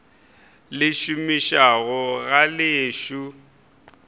le šomišago ga le ešo